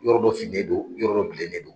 Yɔrɔ dɔ finen don yɔrɔ bilen ne do.